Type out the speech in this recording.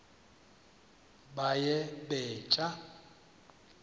baye bee tyaa